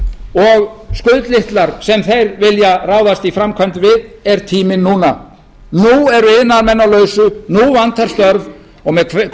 og skuldlitlar sem þeir vilja ráðast í framkvæmd við er tíminn núna nú eru iðnaðarmenn á lausu nú vantar störf og með